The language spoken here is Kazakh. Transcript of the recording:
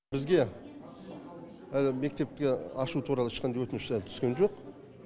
бізге әлі мектепті ашу туралы ешқандай өтініш түскен жоқ